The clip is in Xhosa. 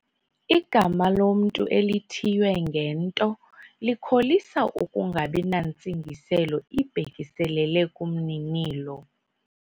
Igama lomntu elithiywe ngento likholisa ukungabi nantsingiselo ibhekiselele kumninilo.